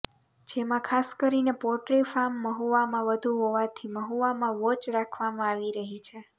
જેમાં ખાસ કરીને પોટ્રી ફાર્મ મહુવામાં વધુ હોવાથી મહુવામાં વોચ રાખવામાં આવી રહી છે